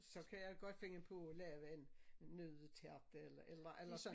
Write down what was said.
Så kan jeg godt finde på at lave en en nøddetærte eller eller eller sådan